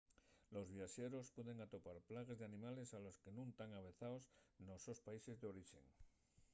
los viaxeros pueden atopar plagues d’animales a les que nun tán avezaos nos sos países d’orixe